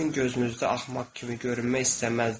Sizin gözünüzdə axmaq kimi görünmək istəməzdim.